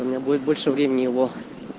у меня будет больше времени его